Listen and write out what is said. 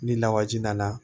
Ni lawaji nana